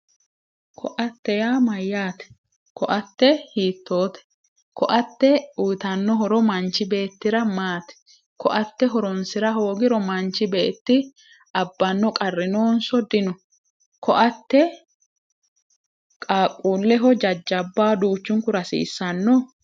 Ko"atte yaa mayyaate ko"atte hiittote ko"atte uyitanno horo manchi beettira maati ko"atte horonsira hoogiro manchi beetira abbanno qarri noonso dino ko"atte qaaqqullehonso jajjabbaho duuchunkura hasiissanno